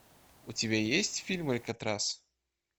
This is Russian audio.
у тебя есть фильм алькатрас